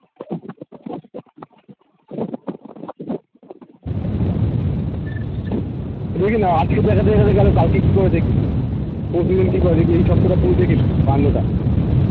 দেখি না আজকে তো দেখা দিয়ে গেলো কালকে কি করে দেখি দেখি এই সপ্তহাটা পুরো দেখি না কান্ডটা